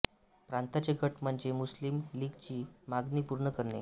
प्रांतांचे गट म्हणजे मुस्लिम लीगची मागणी पूर्ण करणे